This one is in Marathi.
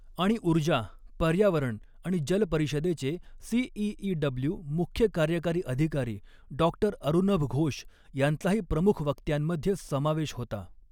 आणि ऊर्जा, पर्यावरण आणि जल परिषदेचे सीइइडब्लू मुख्य कार्यकारी अधिकारी डॉ अरुनभ घोष यांचाही प्रमुख वक्त्यांमधे समावेश होता.